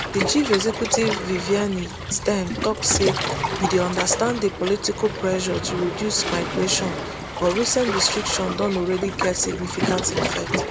di chief executive vivienne stern tok say we dey understand di political pressure to reduce migration but recent restrictions don already get significant effect